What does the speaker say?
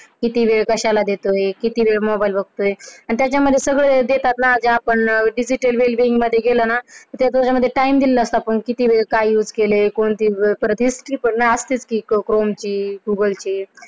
किती वेळ कश्याला देतोय? किती वेळ मोबाइल बघतोय? आणि त्याच्या मध्ये हे सगळं देतात ना कि आपण मध्ये गेलं ना. त्याच्या मध्ये Time दिलेला असतो. आपण किती वेळ काय use केलाय आणि history असती ना बघ google chrome ची, google ची,